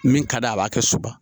Min ka d'a ye a b'a kɛ soba